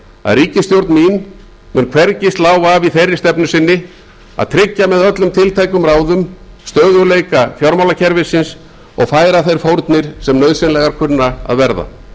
að ríkisstjórn mín mun hvergi slá af í þeirri stefnu sinni að tryggja með öllum tiltækum ráðum stöðugleika fjármálakerfisins og færa þær fórnir sem nauðsynlegar kunna að verða